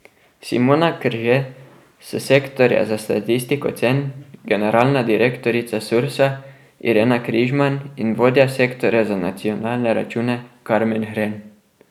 Simona Krže s sektorja za statistiko cen, generalna direktorica Sursa Irena Križman in vodja sektorja za nacionalne račune Karmen Hren.